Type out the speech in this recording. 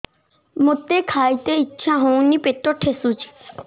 ମୋତେ ଖାଇତେ ଇଚ୍ଛା ହଉନି ପେଟ ଠେସୁଛି